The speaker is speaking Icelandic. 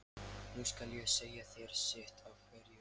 Nú skal ég segja þér sitt af hverju.